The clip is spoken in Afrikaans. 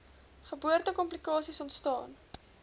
geboorte komplikasies ontstaan